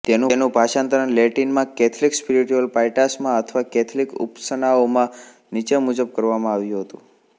તેનું ભાષાંતર લેટિનમાં કેથલિક સ્પિરિટયુલ પાઈટાસમાં અથવા કેથલિક ઉપાસનાઓમાં નીચે મુજબ કરવામાં આવ્યું હતું